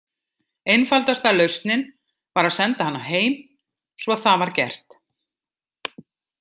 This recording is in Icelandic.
Einfaldasta lausnin var að senda hana heim svo það var gert.